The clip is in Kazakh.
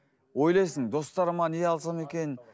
ойлайсың достарыма не алсам екен